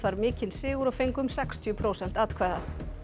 mikinn sigur og fengu um sextíu prósent atkvæða